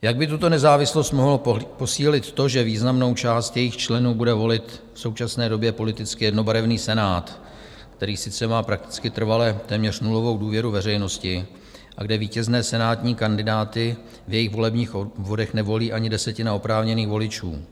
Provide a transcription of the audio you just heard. Jak by tuto nezávislost mohlo posílit to, že významnou část jejích členů bude volit v současné době politicky jednobarevný Senát, který sice má prakticky trvale téměř nulovou důvěru veřejnosti a kde vítězné senátní kandidáty v jejich volebních obvodech nevolí ani desetina oprávněných voličů?